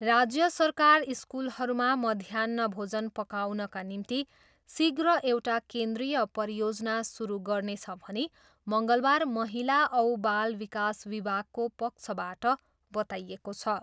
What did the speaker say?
राज्य सरकार स्कुलहरूमा मध्याह्न भोजन पकाउनका निम्ति शीघ्र एउटा केन्द्रिय परियोजना सुरु गर्नेछ भनी मङ्गलबार महिला औ बाल विकास विभागको पक्षबाट बताइएको छ।